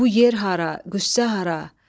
Bu yer hara, qüssə hara.